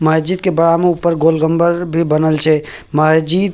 महजिद के बड़ा में ऊपर गोलगंबर भी बनल छै महजिद --